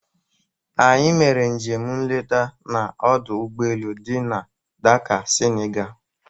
Anyị mere njem nleta n'ọdụ ụgboelu dị na Dakaa, Senigalị.